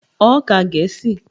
Ó ka Gẹ̀ẹ́sì!